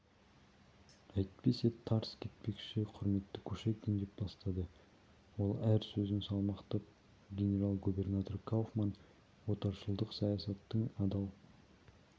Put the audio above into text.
әйтпесе тарс кетпекші құрметті кушекин деп бастады ол әр сөзін салмақтап генерал-губернатор кауфман отаршылдық саясаттың адал